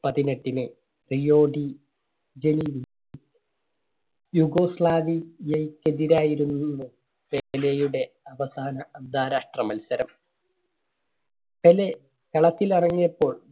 പതിനെട്ടിന് യൂഗോസ്ലാവിയക്കെതിരായിരുന്നു~ന്നു പെലെയുടെ അവസാന അന്താരാഷ്ട്ര മത്സരം. പെലെ കളത്തിൽ ഇറങ്ങിയപ്പോൾ